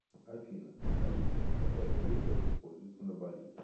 афина алиса какая валюта используется на бали